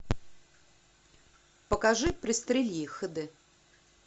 покажи пристрели их хд